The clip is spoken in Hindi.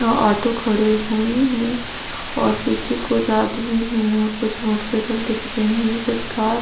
या आटो खड़े हुए ओर पीछे कुछ आदमी है ओर मोटरसाइकिल दिख रही ओर कुछ कार --